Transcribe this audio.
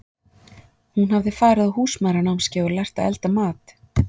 Hún hafði farið á Húsmæðranámskeið og lært að elda mat.